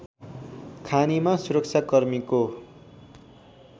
खानीमा सुरक्षाकर्मीको